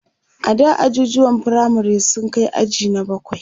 ada ajujuwan firamare sun Kai aji na bakwai